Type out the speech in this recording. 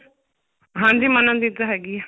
ਹਾਂਜੀ ਮਨਨ ਦੀ ਤਾਂ ਹੈਗੀ ਆ